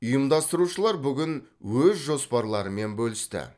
ұйымдастырушылар бүгін өз жоспарларымен бөлісті